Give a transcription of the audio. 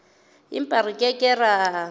empa re ke ke ra